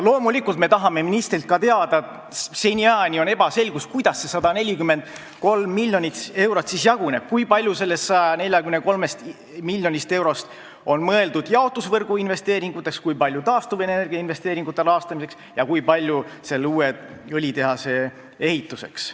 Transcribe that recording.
Loomulikult me tahame ministrilt teada – seniajani on see ebaselge –, kuidas see 143 miljonit eurot jaguneb, kui palju sellest 143 miljonist eurost on mõeldud jaotusvõrgu investeeringuteks, kui palju taastuvenergia investeeringute rahastamiseks ja kui palju uue õlitehase ehituseks.